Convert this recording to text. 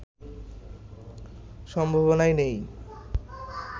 সম্ভাবনাই নেই